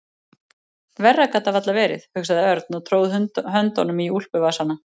Verra gat það varla verið, hugsaði Örn og tróð höndunum í úlpuvasana.